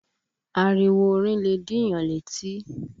Ariwo orin lẹ̀ dìyàn létí